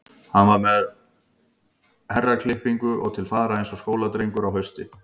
Hann var kominn með herraklippingu og til fara eins og skóladrengur á hausti.